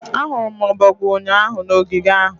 Ahụrụ m ọbọgwụ ụnyaahụ na ogige ahụ